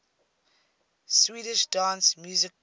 swedish dance music groups